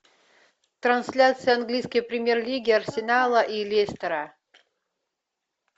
трансляция английской премьер лиги арсенала и лестера